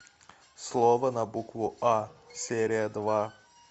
слово на букву а серия два